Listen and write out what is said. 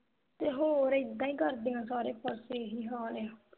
ਤੇ ਹੋਰ ਏਦਾਂ ਹੀ ਕਰਦੀਆਂ ਸਾਰੇ ਪਾਸੇ ਇਹੀ ਹਾਲ ਆ